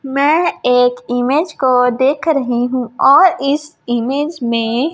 मैं एक इमेज को देख रही हूं और इस इमेज में--